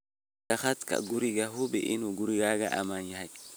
Ammaanka khadka guriga Hubi in gurigaagu ammaan yahay.